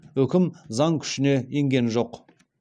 үкім заң күшіне енген жоқ